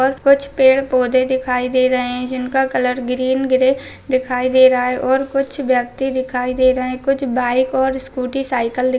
और कुछ पेड़ पौधे दिखाई दे रहे है जिनका कलर ग्रीन ग्रे दिखाई दे रहे है और कुछ व्यक्ति दिखाई दे रहे है बाइक और स्कूटी साइकल दिख--